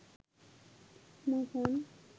মোহন